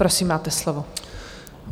Prosím, máte slovo.